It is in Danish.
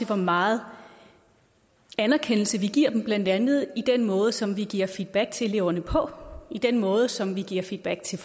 hvor meget anerkendelse vi giver dem blandt andet i den måde som vi giver feedback til eleverne på i den måde som vi giver feedback til